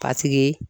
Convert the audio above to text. A tigi